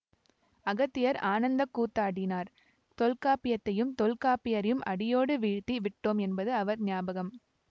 அகத்தியர் ஆனந்தக்கூத்தாடினார் தொல்காப்பியத்தையும் தொல்காப்பியரையும் அடியோடு வீழ்த்தி விட்டோம் என்பது அவர் ஞாபகம்